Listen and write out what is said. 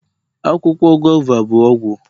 Akwụkwọ guava bụ ọgwụ